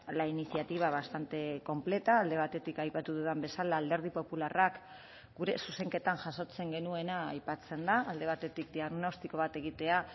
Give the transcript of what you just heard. la iniciativa bastante completa alde batetik aipatu dudan bezala alderdi popularrak gure zuzenketan jasotzen genuena aipatzen da alde batetik diagnostiko bat egitea